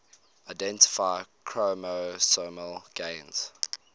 identify chromosomal gains